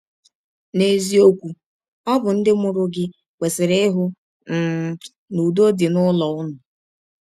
N’eziọkwụ, ọ bụ ndị mụrụ gị kwesịrị ịhụ um na ụdọ dị n’ụlọ ụnụ.